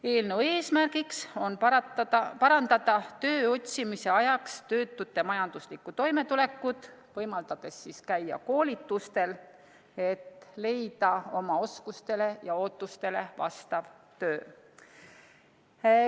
Eelnõu eesmärgiks on parandada töö otsimise ajaks töötute majanduslikku toimetulekut, võimaldades käia koolitustel, et leida oma oskustele ja ootustele vastav töö.